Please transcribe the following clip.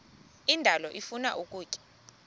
indalo ifuna ukutya